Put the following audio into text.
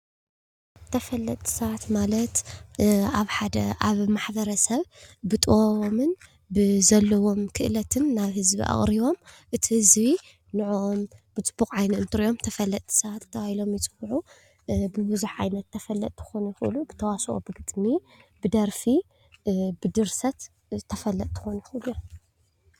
ተፈለጥቲ ሰባት ማለት ኣብ ሓደ ኣብ ማሕበረሰብ ብጥበቦምን ብዘለዎም ክእለትን ናብ ህዝቢ ኣቅሪቦም እቲ ህዝቢ ንዕዖም ብፅቡቅ ዓይኒ እንትርኦም ተፈለጥቲ ሰባት ተባሂሎም ይፅውዑ። ብቡዝሕ ዓይነት ተፈለጥቲ ክኮኑ ይክእሉ ብተዋስኦ፣ ብግጥሚ፣ ብደርፊ ፣ብድርሰት ተፈለጢ ክኮኑ ይክእሉ እዮም ።